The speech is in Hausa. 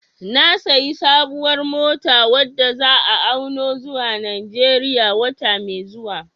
Na sayi sabuwar mota wadda za'a auno zuwa Najeriya wata mai zuwa